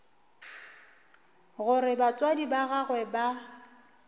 gore batswadi ba gagwe ba